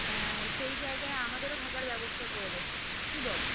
আহ সেই জায়গায় আমাদেরও থাকার ব্যবস্থা করে দেব কি বলো?